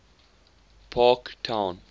parktown